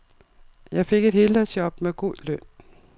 Jeg fik et heldagsjob med god løn.